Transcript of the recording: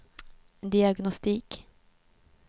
diagnostik